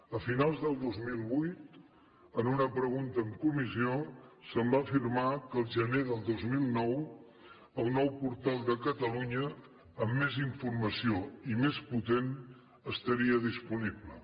a finals del dos mil vuit en una pregunta en comissió se’m va afirmar que al gener del dos mil nou el nou portal de catalunya amb més informació i més potent estaria disponible